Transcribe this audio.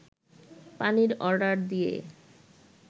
পানির অর্ডার দিয়ে